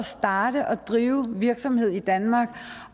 starte og drive virksomhed i danmark